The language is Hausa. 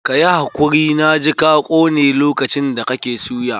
Ka yi hakuri, na ji ka kone lokacin da kake suya.